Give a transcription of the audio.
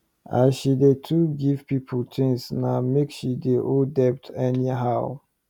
as she dey too give people things na make she dey owe debt any how